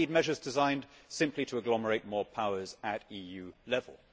or, indeed, measures designed simply to agglomerate more powers at EU level.